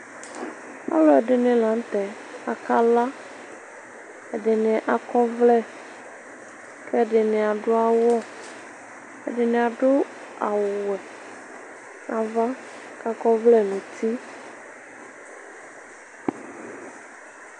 Ɔlʋɛdini lanʋtɛ akala akɔ ɔvlɛ ɛdini adʋ awʋ ɛdini adʋ awʋwɛ nʋ ava kʋ akɔ ɔvlɛ nʋ uti